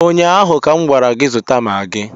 ụnyaahụ ka m gwara gị zụta magị